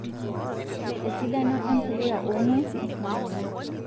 Esidano empuliya oong'wesi naa kuna;